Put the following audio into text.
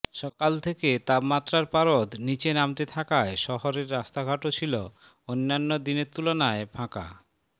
সকাল থেকে তাপমাত্রার পারদ নীচে নামতে থাকায় শহরের রাস্তাঘাটও ছিল অন্যান্য দিনের তুলনায় ফাঁকা